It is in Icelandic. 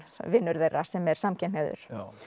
vinur þeirra sem er samkynhneigður